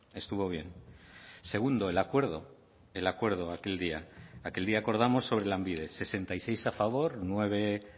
estuvo bien segundo el acuerdo el acuerdo aquel día aquel día acordamos sobre lanbide sesenta y seis a favor nueve